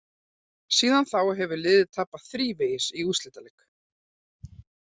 Síðan þá hefur liðið tapað þrívegis í úrslitaleik.